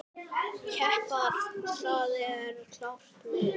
Keppa, það er klárt mál.